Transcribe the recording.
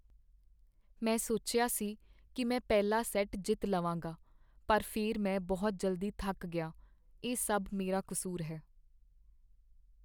ਮੈਂ ਸੋਚਿਆ ਸੀ ਕੀ ਮੈਂ ਪਹਿਲਾ ਸੈੱਟ ਜਿੱਤ ਲਵਾਂਗਾ, ਪਰ ਫਿਰ ਮੈਂ ਬਹੁਤ ਜਲਦੀ ਥੱਕ ਗਿਆ। ਇਹ ਸਭ ਮੇਰਾ ਕਸੂਰ ਹੈ।